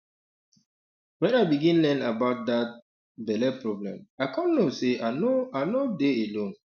when i begin learn about that um belle problem i come know say i no i no dey alone